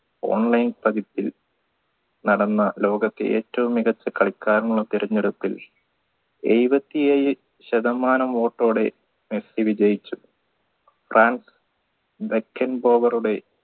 online പതിപ്പിൽ നടന്ന ലോകത്തെ ഏറ്റവും മികച്ച കളിക്കാരന് തിരഞ്ഞെടുപ്പിൽ ഏഴുവത്തേഴ് ശതമാനം vote ടെ മെസ്സി വിജയിച്ചു ഫ്രാൻസ്